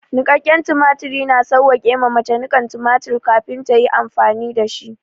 Niƙaƙƙen tumatiri, na sawwake ma mace niƙan tumatir kafin ta yi amfani da shi.